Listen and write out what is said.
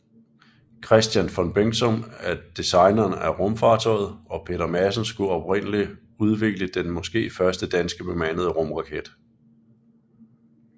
Kristian von Bengtson er designeren af rumfartøjet og Peter Madsen skulle oprindelig udvikle den måske første danske bemandede rumraket